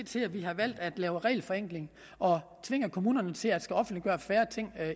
til at vi har valgt at lave regelforenkling og tvinger kommunerne til at offentligegøre færre ting